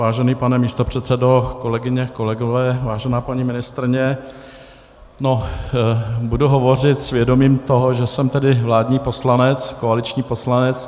Vážený pane místopředsedo, kolegyně, kolegové, vážená paní ministryně, budu hovořit s vědomím toho, že jsem tedy vládní poslanec, koaliční poslanec.